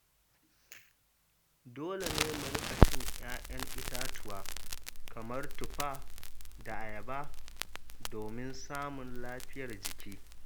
Dole ne mu riƙa cin 'ya'yan itatuwa kamar tufa da ayaba domin samun lafiyar jiki.